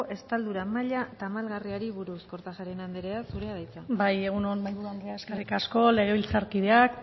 estaldura maila tamalgarriari buruz kortajareana andrea zurea da hitza bai egun on mahaiburu andrea eskerrik asko legebiltzarkideak